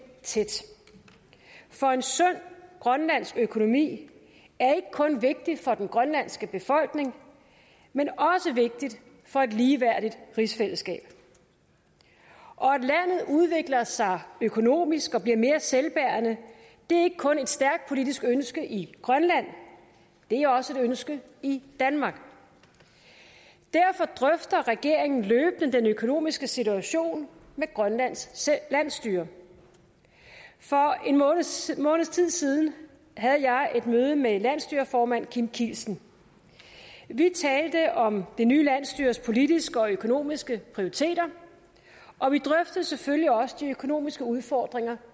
tæt for en sund grønlandsk økonomi er ikke kun vigtig for den grønlandske befolkning men også vigtig for et ligeværdigt rigsfællesskab og at landet udvikler sig økonomisk og bliver mere selvbærende er ikke kun et stærkt politisk ønske i grønland det er også et ønske i danmark derfor drøfter regeringen løbende den økonomiske situation med grønlands landsstyre for en måneds måneds tid siden havde jeg et møde med landsstyreformand kim kielsen vi talte om det nye landsstyres politiske og økonomiske prioriteter og vi drøftede selvfølgelig også de økonomiske udfordringer